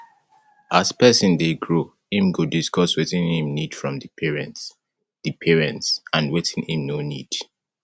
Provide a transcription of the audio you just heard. as persin de grow im go discuss wetin im need from di parents di parents and wetin im no need